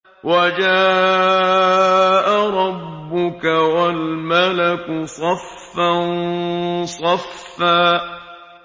وَجَاءَ رَبُّكَ وَالْمَلَكُ صَفًّا صَفًّا